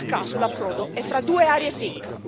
Non a caso, l'approdo è fra due aree SIC.